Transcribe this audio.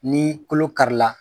Ni kolo karila